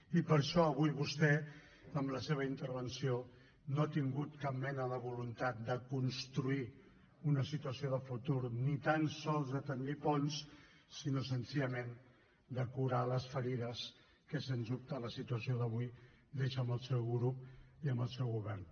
i per això avui vostè amb la seva intervenció no ha tingut cap mena de voluntat de construir una situació de futur ni tan sols de bastir ponts sinó senzillament de curar les ferides que sens dubte la situació d’avui deixa en el seu grup i en el seu govern